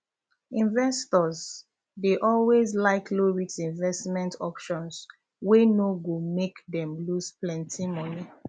investors um dey always like lowrisk investment options wey no go make um them loose plenty